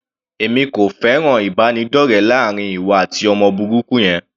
Èmi kò fẹ́ràn ìbánidọ́rẹ láàrin ìwọ àti ọmọ burúkú yẹn.